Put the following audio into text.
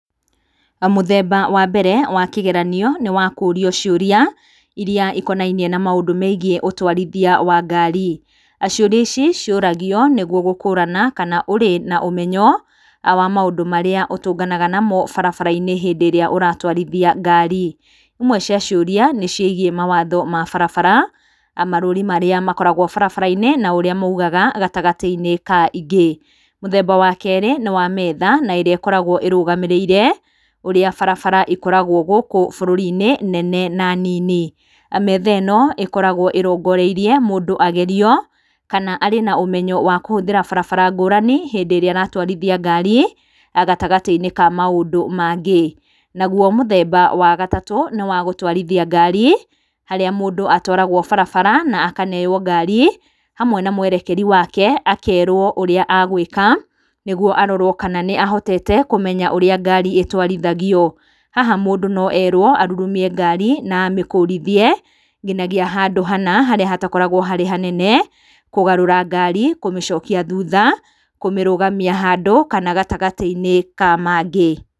Mũthemba wa mbere wa kĩgeranio nĩ wa kũũrio ciũria iria ikonainie na maũndũ meigiĩ ũtwarithia wa ngari. Ciũria ici ciũragio nĩgwo gũkũrana kana ũrĩ na ũmenyo wa maũndũ marĩa ũtũnganaga namo barabara-inĩ hĩndĩ ĩrĩa ũratwarithia ngari. Imwe cia ciũria nĩ ciigiĩ mawatho ma barabara, marũri marĩa makoragwo barabara-inĩ na ũrĩa maugaga gatagati-inĩ ka ingĩ. Mũthemba wa kerĩ nĩ wa metha na ĩrĩa ĩkoragwo ĩrũgamĩrĩire ũrĩa barabara ikoragwo gũkũ bũrũri-inĩ, nene na nini. Metha ĩno ĩkoragwo ĩrongoreirie mũndũ agerio kana arĩ na ũmenyo wa kũhũthĩra barabara ngũrani hĩndĩ ĩrĩa aratwarithia ngari, gatagati-inĩ ka maũndũ mangĩ. Nagwo mũthemba wa gatatũ nĩ wa gũtwarithia ngari, harĩa mũndũ atwaragwo barabara na akaneywo ngari hamwe na mwerekeri wake, akerwo ũrĩa agwĩka nĩgwo arorwo kana nĩ ahotete kũmenya ũrĩa ngari ĩtwarithagio. Haha mũndũ no erwo arurumie ngari na amĩkũrithie nginagia handũ hana harĩa hatakoragwo harĩ hanene, kũgarũra ngari, kũmĩcokia thuutha, kũmĩrũgamia handũ kana gatagati-inĩ ka mangĩ.